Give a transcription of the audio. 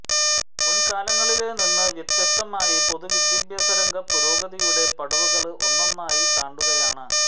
മുന്കാലങ്ങളില് നിന്ന് വ്യത്യസ്തമായി പൊതുവിദ്യാഭ്യാസരംഗം പുരോഗതിയുടെ പടവുകള് ഒന്നൊന്നായി താണ്ടുകയാണ്